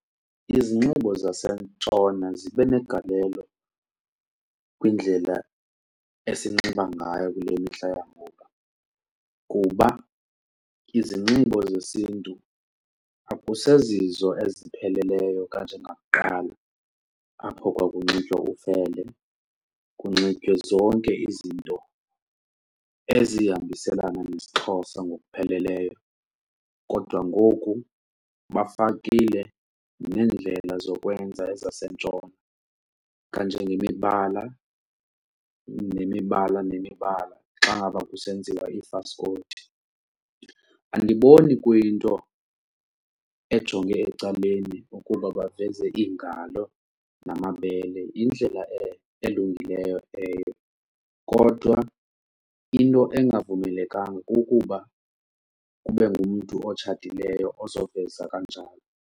Izinxibo zasentshona zibe negalelo kwindlela esinxiba ngayo kule mihla yangoku kuba izinxibo zesiNtu akusezizo ezipheleleyo kanjengakuqala apho kwakunxitywa ufele, kunxitywe zonke izinto ezihambiselana nesiXhosa ngokupheleleyo. Kodwa ngoku, bafakile neendlela zokwenza ezasentshona, kanjengemibala nemibala nemibala xa ngaba kusenziwa iifaskoti. Andiboni kuyinto ejonge ecaleni ukuba baveze iingalo namabele yindlela elungileyo kodwa into engavumelekanga kukuba kube ngumntu otshatileyo ozoveza kanjalo.